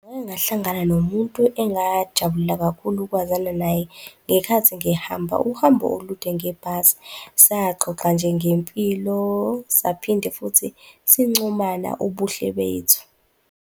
Ngake ngahlangana nomuntu engajabulela kakhulu ukwazana naye ngenkathi ngihamba uhambo olude ngebhasi. Saxoxa nje ngempilo, saphinde futhi sincomana ubuhle bethu.